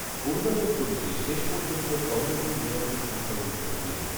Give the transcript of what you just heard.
অরুণাচল প্রদেশে শেষ পর্যন্ত কংগ্রেসই নিরঙ্কুশ সংখ্যাগরিষ্ঠতা পেল।